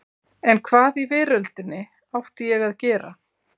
En hvað í veröldinni átti ég að gera?